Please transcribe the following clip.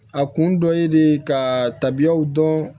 A kun dɔ ye de ka tabiyaw dɔn